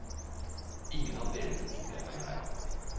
Ingen av delene tok jeg meg nær av.